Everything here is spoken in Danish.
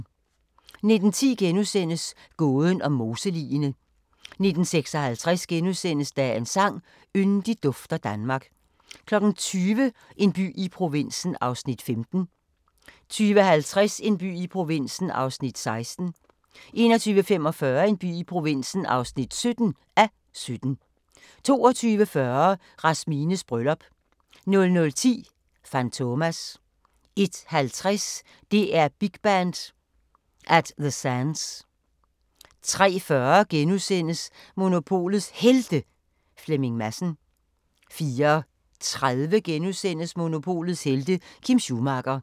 19:10: Gåden om moseligene * 19:56: Dagens sang: Yndigt dufter Danmark * 20:00: En by i provinsen (15:17) 20:50: En by i provinsen (16:17) 21:45: En by i provinsen (17:17) 22:40: Rasmines bryllup 00:10: Fantomas 01:50: DR Big Band: At The Sands 03:40: Monopolets Helte – Flemming Madsen * 04:30: Monopolets helte - Kim Schumacher *